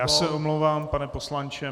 Já se omlouvám, pane poslanče.